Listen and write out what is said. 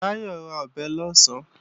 Báyọ̀ ra ọ̀bẹ lọ̀sán